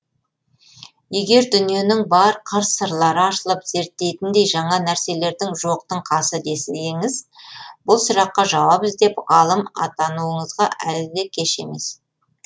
егер дүниенің бар қыр сырлары ашылып зерттейтіндей жаңа нәрселердің жоқтың қасы десеңіз бұл сұраққа жауап іздеп ғалым атануыңызға әлі де кеш емес